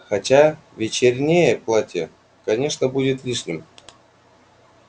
хотя вечернее платье конечно будет лишним